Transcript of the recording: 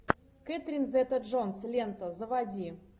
кэтрин зета джонс лента заводи